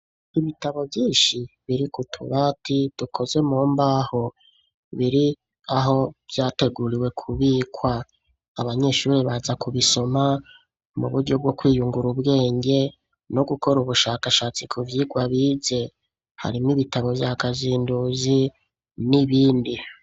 Ibitabo vyinshi biri ku tubati dukoze mu mbaho biri aho vyateguriwe kubikwa abanyeshuri baza kubisoma mu buryo bwo kwiyungura ubwenge no gukora ubushakashatsi ku vyigwa bize harimo ibitabo vyakazinduzi n'ibindi.